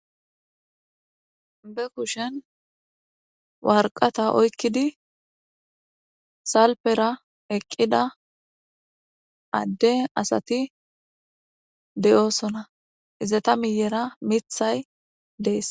be kushen warqata oykkidi salpera eqqida adde asati de7oosona izata miyera mithay dees